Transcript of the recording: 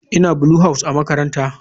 Ina Blue house a makarantara.